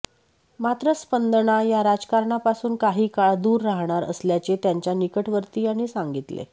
मात्र स्पंदना या राजकारणापासून काही काळ दूर राहणार असल्याचे त्यांचा निकटवर्तीयांनी सांगितले